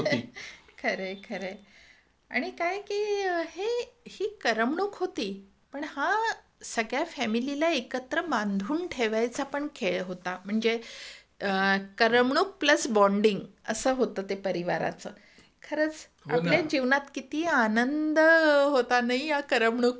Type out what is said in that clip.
खरंय खरंय आणि किती करमणूक होते फॅमिलीला एकत्र बांधून ठेवायचा खेळ होता म्हणजे करमणूक प्लस बाँडिंग असं होतं ते परिवाराचं खरंच किती आनंद होता नाही या करमणुकीने.